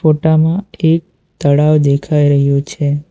ફોટામાં એક તળાવ દેખાઈ રહ્યું છે.